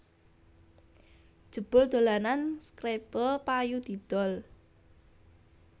Jebul dolanan scrabble payu didol